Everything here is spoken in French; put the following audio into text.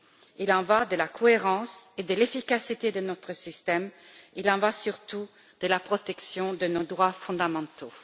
Il en va de la cohérence et de l'efficacité de notre système, il en va, surtout, de la protection de nos droits fondamentaux.